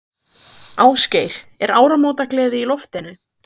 Ásgeir, er áramótagleði í loftinu?